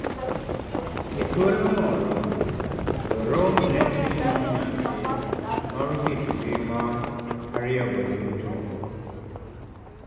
e thuolo moro, jo-rome ne timo nyas mar kit ngima ariyo go duto